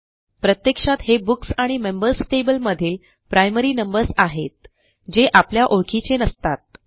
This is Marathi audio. प्रत्यक्षात हे बुक्स आणि मेंबर्स टेबल मधील प्रायमरी नंबर्स आहेत जे आपल्या ओळखीचे नसतात